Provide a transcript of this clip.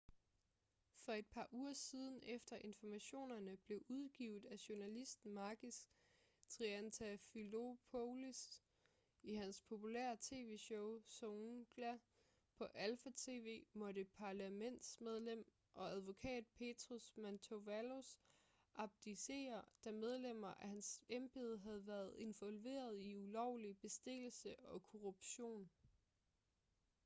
for et par uger siden efter informationerne blev udgivet af journalisten makis triantafylopoulos i hans populære tv-show zoungla på alpha tv måtte parlamentsmedlem og advokat petros mantouvalos abdicere da medlemmer af hans embede havde været involveret i ulovlig bestikkelse og korruption